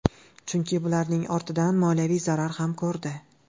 Chunki bularning ortidan moliyaviy zarar ham ko‘rdi.